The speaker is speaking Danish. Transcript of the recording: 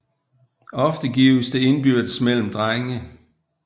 Ofte gives det indbyrdes mellem drenge